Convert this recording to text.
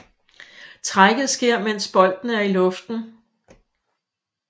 Trækket sker mens bolden er i luften